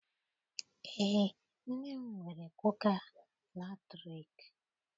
Eé, nne m nwere kuka latriki.